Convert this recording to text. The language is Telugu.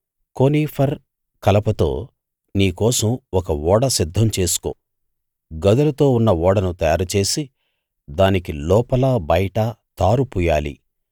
కోనిఫర్ కలపతో నీ కోసం ఒక ఓడ సిద్ధం చేసుకో గదులతో ఉన్న ఓడను తయారుచేసి దానికి లోపలా బయటా తారు పూయాలి